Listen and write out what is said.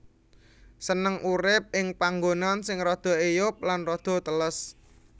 Seneng urip ing panggonan sing rada eyub lan rada teles